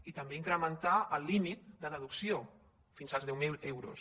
i també incrementar el límit de deducció fins als deu mil euros